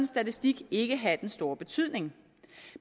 statistik ikke have den store betydning